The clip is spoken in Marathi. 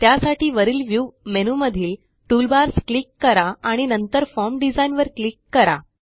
त्यासाठी वरील व्ह्यू मेनूमधील टूलबार्स क्लिक करा आणि नंतर फॉर्म डिझाइन वर क्लिक करा